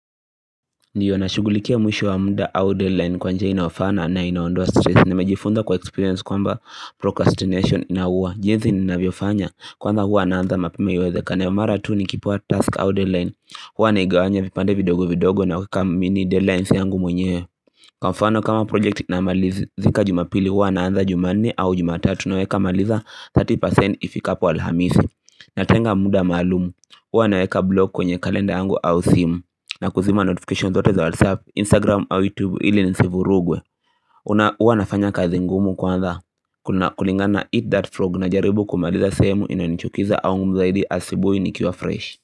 Ndiyo nashughulikia mwisho wa muda au deadline kwa njia inayofana na inaondoa stress. Nimejifunza kwa experience kwamba procrastination inauwa. Jinzi ninavyofanya kwanza huwa naanza mapema iwezekanavyo. Mara tu nikipewa task au deadline, huwa naigawanya vipande vidogo vidogo na kuweka mini deadlines yangu mwenyewe. Kwa mfano kama project namalizi zika jumapili huwa naanza juma nne au jumatatu. Naweka maliza 30% ifikapo alhamisi Natenga muda maalum. Huwa naweka blog kwenye kalenda yangu au simu na kuzima notification zote za WhatsApp, Instagram au YouTube ili nisivurugwe. Una Uwa nafanya kazi ngumu kwanza. Kuna kulingana eat that frog najaribu kumaliza sehemu inayonichukiza au mzaidi asubuhi nikiwa fresh.